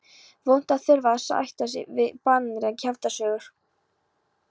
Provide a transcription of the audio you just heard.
Vont að þurfa að sætta sig við baneitraðar kjaftasögur.